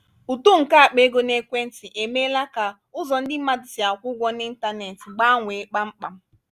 uto nke akpa ego n’aka ekwentị emeela ka ụzọ ndị mmadụ si akwụ ụgwọ n'ịntanetị gbanwee kpamkpam.